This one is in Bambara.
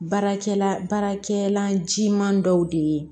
Baarakɛla baarakɛlan jiman dɔw de ye